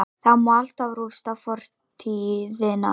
Það má alltaf rústa fortíðina-